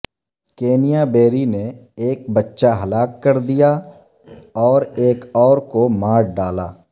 Kenya بیری نے ایک بچہ ہلاک کر دیا اور ایک اور کو مار ڈالا